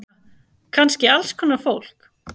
Kannski alls konar fólk.